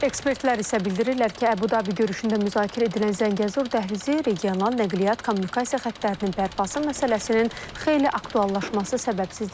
Ekspertlər isə bildirirlər ki, Əbu-Dabi görüşündə müzakirə edilən Zəngəzur dəhlizi regional nəqliyyat kommunikasiya xətlərinin bərpası məsələsinin xeyli aktuallaşması səbəbsiz deyil.